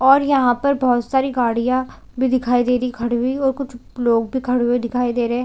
और यहाँ पर बहोत सारी गाड़ीया भी दिखाई दे रही है और कुछ लोग भी खड़े हुए दिखाई दे रहे है।